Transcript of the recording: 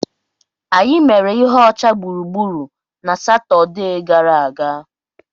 Anyị mere ihe ọcha gburugburu na Satọde gara aga.